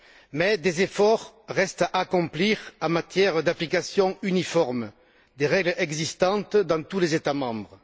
Mais des efforts restent à accomplir en matière d'application uniforme des règles existantes dans tous les États membres.